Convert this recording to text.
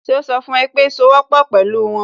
Ṣe ó sọ fún ẹ pé sowọ́pọ̀ pẹ̀lú wọn?